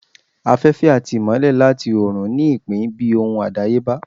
Afẹfẹ ati imọlẹ latí orun ní ipin bi ohun adayeba.